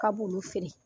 Ka b'olu feere